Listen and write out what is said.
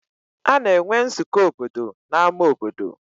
Ana enwe nzukọ obodo n'ámá obodo.